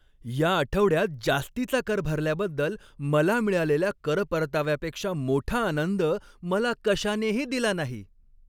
या आठवड्यात जास्तीचा कर भरल्याबद्दल मला मिळालेल्या कर परताव्यापेक्षा मोठा आनंद मला कशानेही दिला नाही.